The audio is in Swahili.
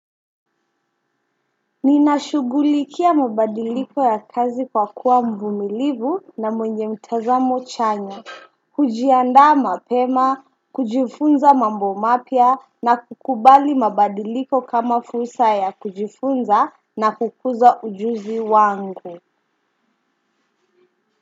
Ninashughulikia mabadiliko ya kazi kwa kuwa mvumilivu na mwenye mtazamo chanya, kujiandaa mapema, kujifunza mambo mapya na kukubali mabadiliko kama fursa ya kujifunza na kukuza ujuzi wangu.